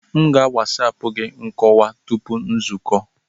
M ga a wasapu gị nkọwa tupu nzukọ.